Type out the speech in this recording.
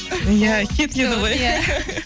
иә кетеді ғой